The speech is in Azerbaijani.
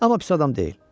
Amma pis adam deyil.